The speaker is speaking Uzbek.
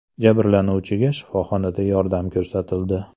Jabrlanuvchiga shifoxonada yordam ko‘rsatildi.